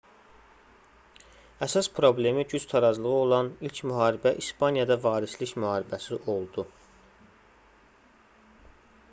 əsas problemi güc tarazlığı olan ilk müharibə i̇spaniyada varislik müharibəsi oldu